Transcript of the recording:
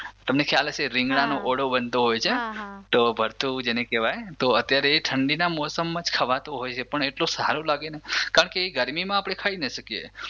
તમને ખ્યાલ હશે રીંગણાંનો ઓળો બનતો હોય છે તો ભળથું જેને કેવાય તો અત્યારે એ ઠંડી ના મોસમમાં જ ખવાતો હોય છે પણ એટલો સારો લાગે ને કારણકે એ ગરમીમાં આપણે ખાઈ ના શકીએ.